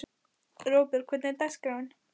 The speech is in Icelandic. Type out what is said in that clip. Róbjörg, hvernig er dagskráin?